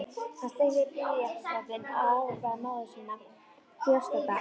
Hann sleikti blýantsoddinn og ávarpaði móðir sína fjarstadda: Elsku mamma